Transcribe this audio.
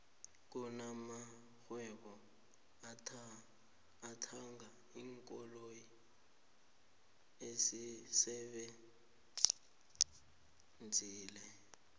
kuna marhwebo ethanga iinkoloyi esisebenzileko